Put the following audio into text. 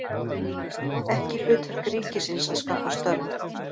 Ekki hlutverk ríkisins að skapa störf